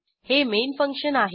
हे main function आहे